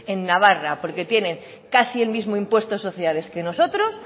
en navarra porque tienen casi el mismo impuesto de sociedades que nosotros